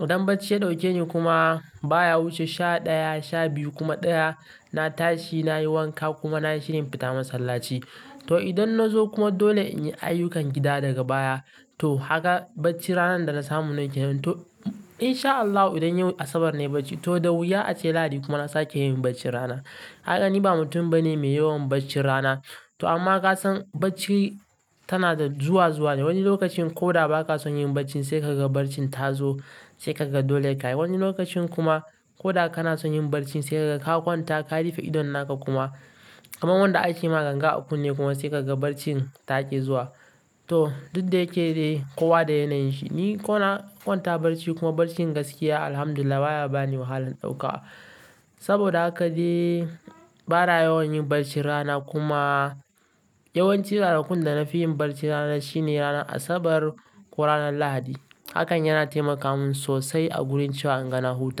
Idan bacci ya ɗauke ni kuma baya wuce sha ɗaya, sha biyu kuma ɗaya, na tashi nayi wanka kuma nayi shirin fita masallaci. To idan na zo kuma dole in yi ayyukan gida daga baya to kaga baccin ranar da na samu nayi kenan to in sha Allahu idan yau Asabar nayi bacci to da wuya ace Lahadi kuma na sake yin baccin rana. Kaga ni ba mutum bane mai yawan baccin rana. To amma ka san bacci tana da zuwa zuwa ne. Wani lokacin ko da ba ka son yin bacci sai ka ga barcin ta zo sai ka ga dole ka yi. Wani lokacin kuma ko da kana son yin barcin sai ka ga ka kwanta ka rufe idon naka kuma kamar wanda aka yi ma ganga a kunne kuma sai ka ga barcin ta ƙi zuwa. To duk da yake dai kowa da yanayin shi. Ni ko na kwanta barci kuma barcin gaskiya Alhamdulillah baya bani wahalan ɗauka. Saboda haka dai bana yawan yin barci rana kuma yawancin ranakun da na fi yin barci rana shine ranar Asabar ko ranar Lahadi. Hakan yana taimaka mun sosai a gurin cewa in ga na huta.